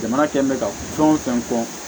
Jamana kɛlen bɛ ka fɛn o fɛn fɔ